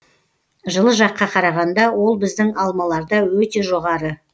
жылы жаққа қарағанда ол біздің алмаларда өте жоғары